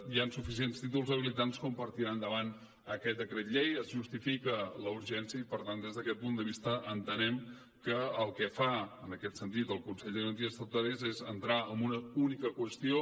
hi han suficients títols habilitants com per tirar endavant aquest decret llei es justifica la urgència i per tant des d’aquest punt de vista entenem que el que fa en aquest sentit el consell de garanties estatutàries és entrar en una única qüestió